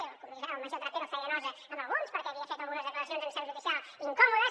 i el major trapero feia nosa a alguns perquè havia fet algunes declaracions en seu judicial incòmodes